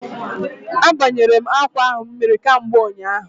A banyere m akwa ahụ mmiri kamgbe ụnyaahụ